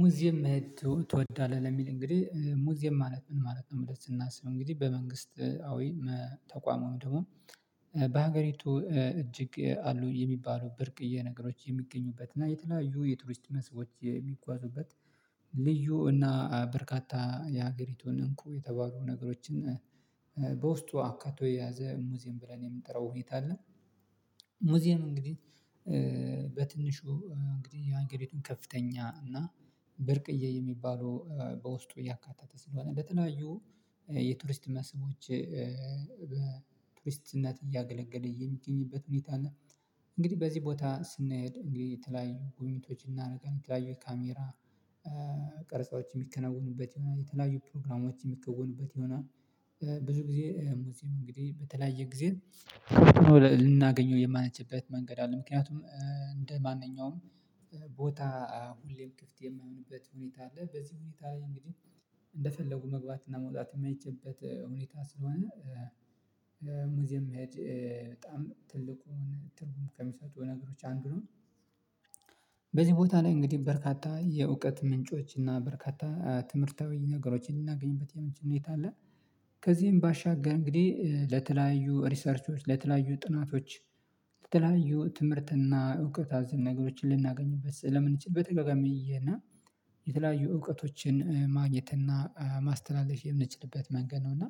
ሙዚየም መሄድ ትወዳለህ ለሚል እንግዲህ ሙዚየም ማለት ምን ማለት ነው? ብለን ስናስብ እንግዲህ በመንግስት አዊ ተቋም ወይም ደግሞ በሀገሪቱ እጅግ አሉ የሚባሉ ብርቅዬ ነገሮች የሚገኙበት እና የተለያዩ የቱሪስት መስቦች የሚጓዙበት ልዩ እና በርካታ የሀገሪቱን እንቁ የተባሉ ነገሮችን በውስጡ አካቶ የያዘ ሙዚየም ብለን የምንጠራው ሁኔታ አለ። ሙዚየም እንግዲህ በትንሹ እንግዲህ የሃገሪቱን ከፍተኛ እና ብርቅዬ የሚባሉ በውስጡ ያካተተ ስለሆነ እንደተለያዩ የቱሪስት መስቦች በቱሪስትነት እያገለገለ የሚገኝበት ሁኔታ አለ። እንግዲህ በዚህ ቦታ ስንሄድ እንግዲህ የተለያዩ ጉብኝቶችን እናረጋለን የተለያዩ ካሜራ ቀርጻዎች የሚከናወኑበት ይሆናል የተለያዩ ፕሮግራሞች የሚከወኑበት ይሆናል። ብዙ ጊዜ ሙዚየም እንግዲህ በተለያየ ጊዜ ልናገኘው የማንችልበት መንገድ አለ ምክንያቱም እንደማንኛውም ቦታ ሁሌም ክፍት የማይሆንበት ሁኔታ አለ በዚህ ሁኔታ ላይ እንግዲህ እንደፈለጉ መግባት እና መውጣት የማይችልበት ሁኔታ ስለሆነ ሙዚየም መሄድ በጣም ትልቁን ትርጉም ከምሰጠው ነገሮች አንዱ ነው። በዚህ ላይ ቦታ ላይ እንግዲህ በርካታ የእውቀት ምንጮች እና በርካታ ትምህርታዊ ነገሮችን ልናገኝበት የምንችል ሁኔታ አለ። ከዚህም ባሻገር እንግዲህ ለተለያዩ ሪሰርቾች ለተለያዩ ጥናቶች ለተለያዩ ትምህርትና እውቀት አዘል ነገሮችን ልናገኝበት ስለምንችል በተደጋጋሚ እየሄድን የተለያዩ እውቀቶችን ማግኘት እና ማስተላለፍ የምንችልበት መንገድ ነው። እና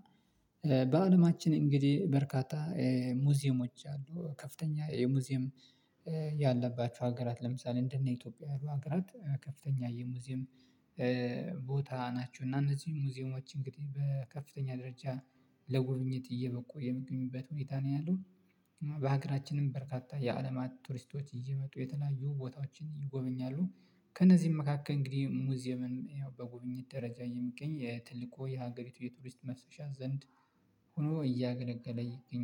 በአለማችን እንግዲህ በርካታ ሙዚየሞች አሉ ከፍተኛ የሙዚየም ያለባቸው ሀገራት ለምሳሌ እንደነ ኢትዮጵያ ያሉ ሀገራት ከፍተኛ የሙዚየም ቦታ ናቸው እና እነዚህም ሙዚየሞች እንግዲህ በከፍተኛ ደረጃ ለጉብኝት እየበቁ የሚገኙበት ሁኔታ ነው ያለው። በሀገራችንም በርካታ የአለማት ቱሪስቶች እየመጡ የተለያዩ ቦታዎችን ይጎበኛሉ ከእነዚህም መካከል እንግዲህ ሙዚየምን በጉብኝት ደረጃ የሚገኝ ትልቁ የሀገሪቱ የቱሪስት መፍሰሻ ዘንድ ሆኖ እያገለገለ ይገኛል